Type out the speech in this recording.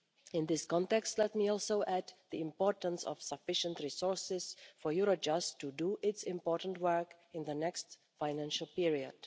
In this context, let me also highlight the importance of sufficient resources for Eurojust to do its important work in the forthcoming financial period.